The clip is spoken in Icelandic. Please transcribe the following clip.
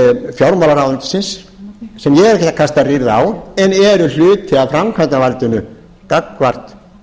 fjármálaráðuneytisins sem ég er ekki að kasta rýrð á en eru hluti af framkvæmdarvaldinu gagnvart